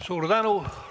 Suur tänu!